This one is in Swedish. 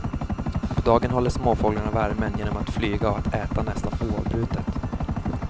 På dagen håller småfåglarna värmen genom flyga och att äta nästan oavbrutet.